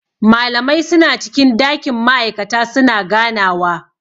Malamai suna cikin dakin ma'aikata su na ganawa..